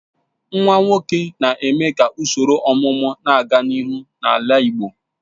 Nwa nwoke na-eme ka usoro ọmụmụ na-aga n'ihu n'ala igbo.